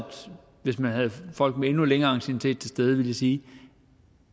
hvis vi havde folk med endnu længere anciennitet til stede ville de sige